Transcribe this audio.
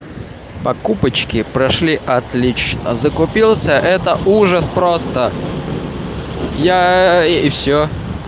покупочки прошли отлично закупился это ужас просто я и всё